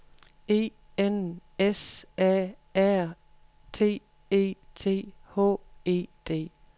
E N S A R T E T H E D